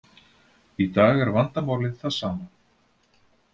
Í dag er vandamálið það sama.